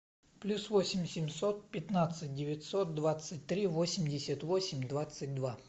плюс восемь семьсот пятнадцать девятьсот двадцать три восемьдесят восемь двадцать два